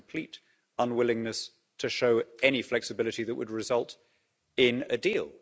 There's a complete unwillingness to show any flexibility that would result in a deal.